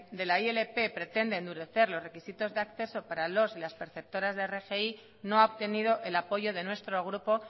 de la ilp pretende endurecer los requisitos de acceso para los y las perceptoras de rgi no ha obtenido el apoyo de nuestro grupo